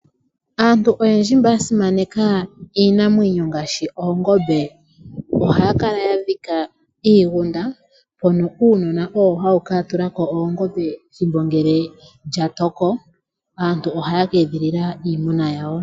Aantu oyendji mba ya simaneka iinamwenyo ngaashi oongombe, ohaya kala ya dhika iigunda mono uunona owo hawu kala tawu ka tula ko oongombe ethimbo ngele lya toko. Aantu ohaya ka edhilila iimuna yawo.